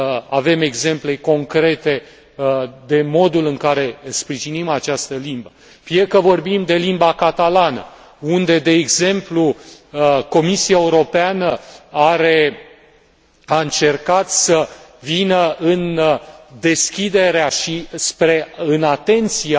avem exemple concrete privind modul în care sprijinim această limbă, fie că vorbim de limba catalană, unde, de exemplu, Comisia Europeană a încercat să vină în deschiderea și în atenția